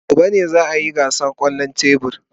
Gobe ​​ne za a yi gasar kwallon tebur.